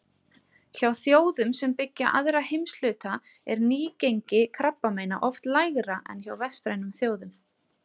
Hjá þjóðum sem byggja aðra heimshluta er nýgengi krabbameina oft lægra en hjá vestrænum þjóðum.